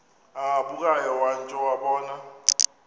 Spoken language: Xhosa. agabukayo watsho wabona